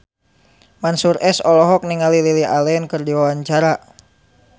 Mansyur S olohok ningali Lily Allen keur diwawancara